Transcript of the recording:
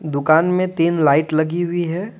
दुकान में तीन लाइट लगी हुई है।